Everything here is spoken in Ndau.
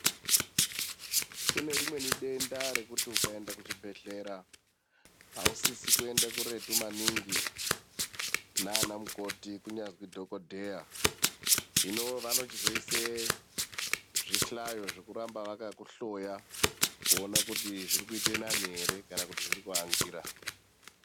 Kunerimweni denda rekuti ukaenda kuchibhedhlera ausisi kuende kuretu maningi nanamukoti kunyazwi dhogodheya. Hino vanochizoise zvihlayo zvekuramba vakakuhloya kuona kuti zvirikuita nani ere kana kuti zvirikuangira.